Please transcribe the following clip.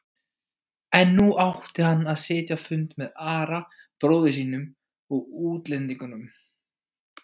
En nú átti hann að sitja fund með Ara bróður sínum og útlendingunum.